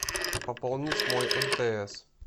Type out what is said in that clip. пополнить мой мтс